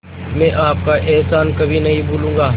मैं आपका एहसान कभी नहीं भूलूंगा